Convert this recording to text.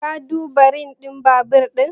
Ka duba rim din babur din?